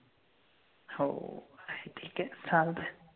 हो ठीक आहे चालतंय.